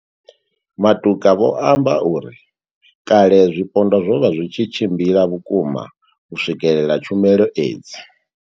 Matuka vho amba uri kale zwipondwa zwo vha zwi tshi tshimbila vhukuma u swikelela tshumelo edzi.